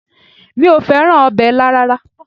Mi ò fẹ́ràn ọbẹ̀ ilá rárá